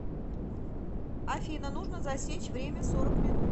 афина нужно засечь время сорок минут